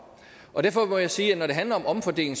derfor må jeg sige at når det handler om omfordeling